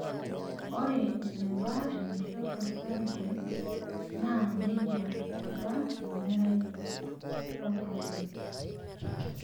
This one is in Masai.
Ore eneba enaisho tosarge naa nejia eba emerai oltungani.